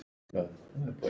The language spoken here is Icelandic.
Ég get ekki varist hlátri.